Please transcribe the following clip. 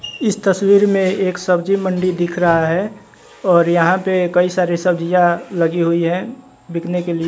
इस तस्वीर में एक सब्जी मंडी दिख रहा है और यहां पे कई सारे सब्जियां लगी हुई हैं बिकने के लिए।